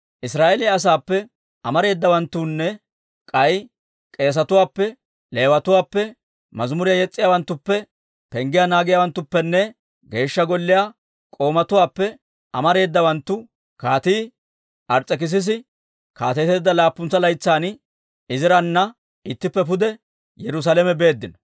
Israa'eeliyaa asaappe amareedawanttunne k'ay k'eesetuwaappe, Leewatuwaappe, mazimuriyaa yes's'iyaawanttuppe, penggiyaa naagiyaawanttuppenne Geeshsha Golliyaa k'oomatuwaappe amareedawanttu Kaatii Ars's'ekissisi kaateteedda laappuntsa laytsan Izirana ittippe pude Yerusaalame beeddino.